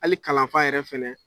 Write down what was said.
Hali kalanfa yɛrɛ fana